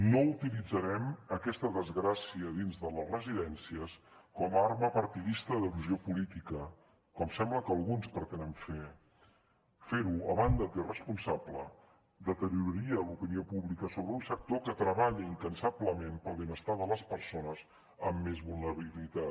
no utilitzarem aquesta desgràcia dins de les residències com a arma partidista d’erosió política com sembla que alguns pretenen fer fer ho a banda d’irresponsable deterioraria l’opinió pública sobre un sector que treballa incansablement pel benestar de les persones amb més vulnerabilitat